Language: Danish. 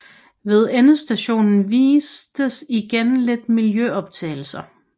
Ved endestationen vises igen lidt miljøoptagelser